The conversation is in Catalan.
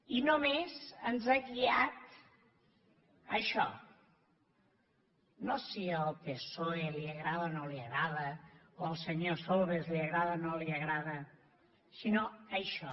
i només ens ha guiat això no si el psoe li agrada o no li agrada o al senyor solbes li agrada o no li agrada sinó això